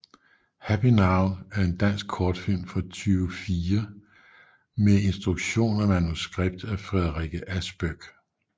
Happy now er en dansk kortfilm fra 2004 med instruktion og manuskript af Frederikke Aspöck